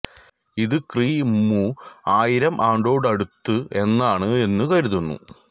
ഇത് ക്രി മു ആയിരം ആണ്ടോടടുത്ത് എന്നാണ് എന്നു കരുതുന്നു